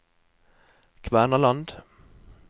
Kvernaland